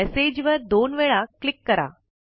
message वर दोन वेळा क्लिक करा